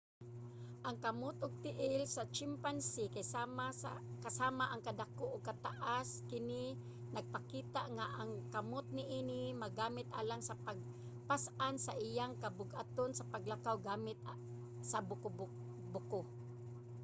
ang kamot ug tiil sa chimpanzee kay sama ang kadako ug kataas. kini nagpakita nga ang kamot niini magamit alang sa pagpas-an sa iyang kabug-aton sa paglakaw gamit sa buko